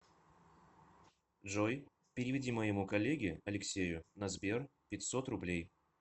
джой переведи моему коллеге алексею на сбер пятьсот рублей